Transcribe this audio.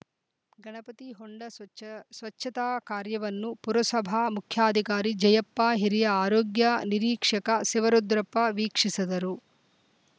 ಗಣಪತಿ ಹೊಂಡ ಸ್ವಚ್ಚ ಸ್ವಚ್ಚತಾ ಕಾರ್ಯವನ್ನು ಪುರಸಭ ಮುಖ್ಯಾಧಿಕಾರಿ ಜಯ್ಯಪ್ಪ ಹಿರಿಯ ಆರೋಗ್ಯ ನಿರೀಕ್ಷಕ ಶಿವರುದ್ರಪ್ಪ ವೀಕ್ಷಿಸಿದರು